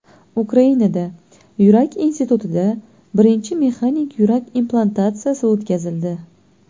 Ukrainada, Yurak institutida birinchi mexanik yurak implantatsiyasi o‘tkazildi.